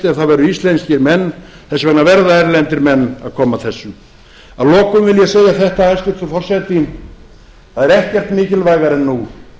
ef það væru íslenskir menn þess vegna verða erlendir menn að koma að þessu að lokum vil ég segja þetta hæstvirtur forseti það er ekkert mikilvægara en nú